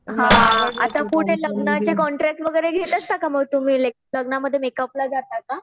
हां आता पुढे लग्नाचे कॉन्ट्रॅक्ट वगैरे घेत असता का मग तुम्ही लग्नामध्ये मेकअपला जाता का?